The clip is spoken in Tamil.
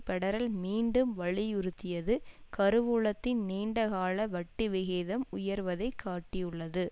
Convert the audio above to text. பெடரல் மீண்டும் வலியுறுத்தியதுகருவூலத்தின் நீண்ட கால வட்டி விகிதம் உயர்வதை காட்டியுள்ளது